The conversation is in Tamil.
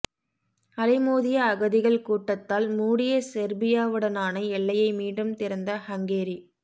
அலைமோதிய அகதிகள் கூட்டத்தால் மூடிய செர்பியாவுடனான எல்லையை மீண்டும் திறந்த ஹங்கேரி